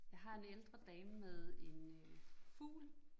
Jeg har en ældre dame med en øh fugl